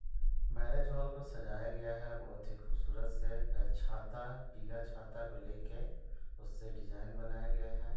Marriage hall को सजाया गया है बहुत ही खूबसूरत से यह छाता पीला छाता को लेके उससे डिज़ाइन बनाया गया है।